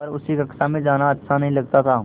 पर उसे कक्षा में जाना अच्छा नहीं लगता था